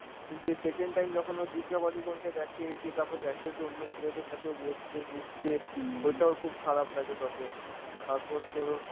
কিন্তু এই second time যখন ও দীপিকা পাডুকোনকে দেখে, দিয়ে তারপর দেখে যে অন্য ছেলেদের সাথে ও বসছে, মিশছে ওইটা ওর খুব খারাপ লাগে তখন. তারপর তোর ও